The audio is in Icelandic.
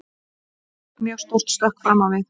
Ég tók mjög stórt stökk fram á við.